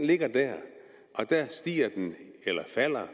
ligger der og den stiger eller falder